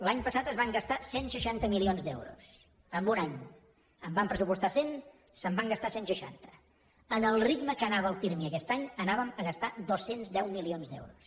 l’any passat es van gastar cent i seixanta milions d’euros en un any en van pressupostar cent se’n van gastar cent i seixanta al ritme que anava el pirmi aquest any anàvem a gastar dos cents i deu milions d’euros